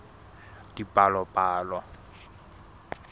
dipalopalo